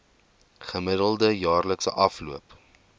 gemiddelde jaarlikse afloop